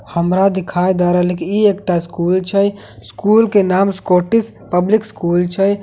हमरा दिखाई द रहलए कि ई एकटा स्कूल छै स्कूल के नाम एस्कॉटिस पब्लिक स्कूल छै।